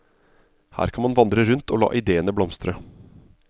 Her kan man vandre rundt og la idéene blomstre.